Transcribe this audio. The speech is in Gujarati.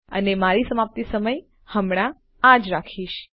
અને મારી સમાપ્તિ સમય હમણાં આ જ રાખીશું